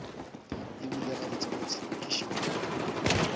e bile gabotsebotse ke šimama